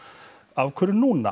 af hverju núna